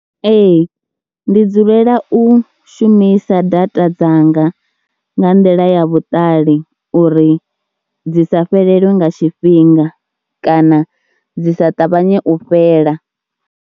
Ee ndi dzulela u shumisa data dzanga nga nḓila ya vhuṱali uri dzi sa fhelelwe nga tshifhinga kana dzi sa ṱavhanye u fhela.